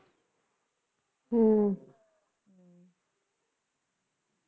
ਹਮ